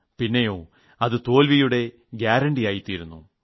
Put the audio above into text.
പിന്നെയോ അത് തോൽവിയുടെ ഉറപ്പായിത്തീരുന്നു